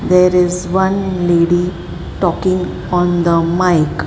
there is one lady talking on the mic.